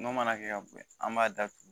N'o mana kɛ ka boyan an b'a datugu